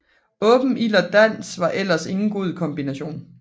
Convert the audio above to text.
Åben ild og dans var ellers ingen god kombination